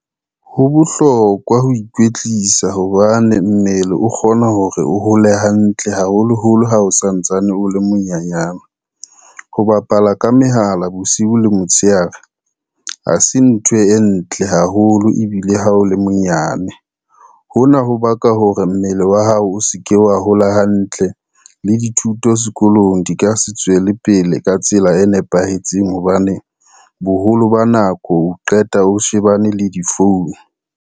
Ho bohlokwa ho ikwetlisa hobane mmele o kgona hore o hole hantle haholoholo ha o santsane o le monyanyana. Ho bapala ka mehala bosiu le motshehare, ha se ntho e ntle haholo ebile ha o le monyane. Hona ho baka hore mmele wa hao o se ke wa hola hantle le dithuto sekolong di ka se tswele pele ka tsela e nepahetseng hobane, boholo ba nako o qeta o shebane le di-phone.